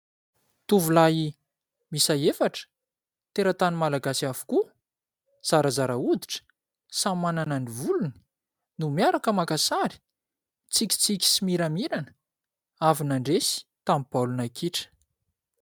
Tovolahy miisa efatra teratany malagasy avokoa zarazara hoditra, samy manana ny volony no miaraka maka sary, mitsikitsiky sy miramirana avy nandresy tamin'ny baolina kitra.